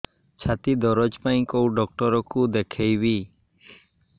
ଛାତି ଦରଜ ପାଇଁ କୋଉ ଡକ୍ଟର କୁ ଦେଖେଇବି